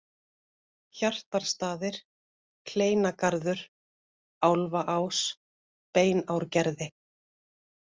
Hjartarstaðir, Hleinargarður, Álfaás, Beinárgerði